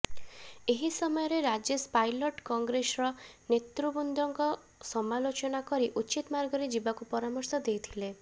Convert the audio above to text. ଏହି ସମୟରେ ରାଜେଶ ପାଇଲଟ କଂଗ୍ରେସର ନେତୃବୃନ୍ଦଙ୍କୁ ସାମଲୋଚନା କରି ଉଚିତ ମାର୍ଗରେ ଯିବାକୁ ପରାମର୍ଶ ଦେଇଥିଲେ